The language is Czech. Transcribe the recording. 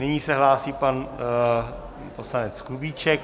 Nyní se hlásí pan poslanec Kubíček.